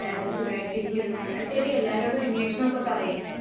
എല്ലാവരും സുഖമായിട്ടിരിക്കുന്നു. എന്നാ, ശരി എല്ലാവരോടും അന്വേഷണമൊക്കെ പറയ്.